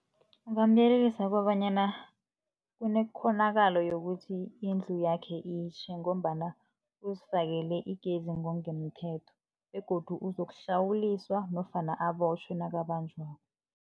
Ngingamyelelisa kobanyana kunekghonakalo yokuthi indlu yakhe itjhe, ngombana uzifakele igezi ngokungemthetho begodu uzokuhlawuliswa nofana abotjhwe nakabanjwako.